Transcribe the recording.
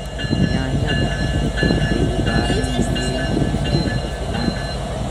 Yaanyada waxay u baahan yihiin iftiin ku filan.